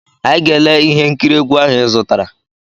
Anyị ga-ele ihe nkiri egwu ahụ ịzụtara.